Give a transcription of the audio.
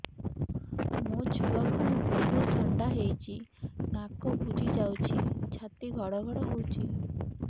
ମୋ ଛୁଆକୁ ବହୁତ ଥଣ୍ଡା ହେଇଚି ନାକ ବୁଜି ଯାଉଛି ଛାତି ଘଡ ଘଡ ହଉଚି